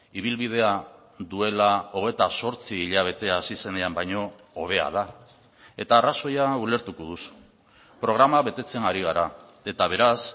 ibilbidea duela hogeita zortzi hilabete hasi zenean baino hobea da eta arrazoia ulertuko duzu programa betetzen ari gara eta beraz